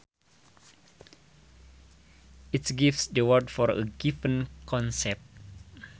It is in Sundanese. It gives the words for a given concept